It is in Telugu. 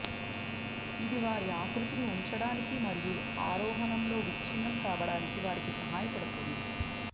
ఇది వారి ఆకృతిని ఉంచడానికి మరియు ఆరోహణంలో విచ్ఛిన్నం కావడానికి వారికి సహాయపడుతుంది